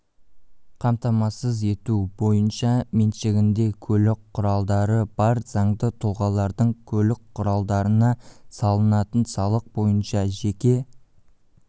қамтамасыз ету бойынша меншігінде көлік құралдары бар заңды тұлғалардың көлік құралдарына салынатын салық бойынша жеке